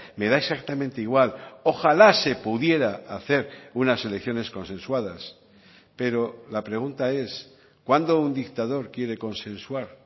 me da exactamente igual ojalá se pudiera hacer unas elecciones consensuadas pero la pregunta es cuándo un dictador quiere consensuar